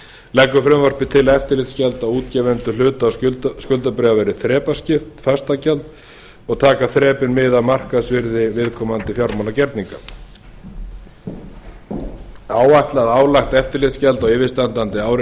leggur frumvarpið til að eftirlitsgjöld á útgefendur hluta og skuldabréfa verði þrepaskipt fastagjald og taka þrepin mið af markaðsvirði viðkomandi fjármálagerninga áætlað álagt eftirlitsgjald á yfirstandandi ári